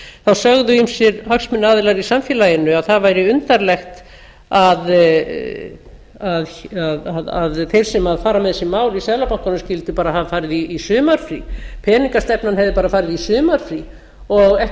þá sögðu ýmsir hagsmunaaðilar í samfélaginu að það væri undarlegt að þeir sem fara með þessi mál í seðlabankanum skyldu bara hafa farið í sumarfrí peningastefnan hefði bara farið í sumarfrí og